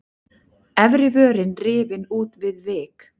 Efri vörin rifin út við vik.